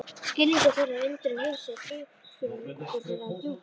Skilningur þeirra á undrum heimsins lífsskilningur þeirra er djúpur.